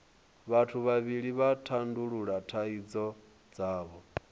vhathu vhavhili vha tandulula thaidzo dzavho